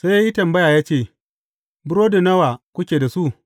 Sai ya yi tambaya ya ce, Burodi nawa kuke da su?